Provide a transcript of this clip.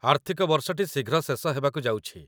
ଆର୍ଥିକ ବର୍ଷଟି ଶୀଘ୍ର ଶେଷ ହେବାକୁ ଯାଉଛି